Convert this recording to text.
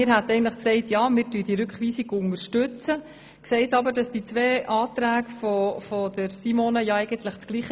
Eigentlich würden wir die Rückweisung unterstützen, sehen aber, dass die zwei Anträge von Simone Machado dasselbe wollen.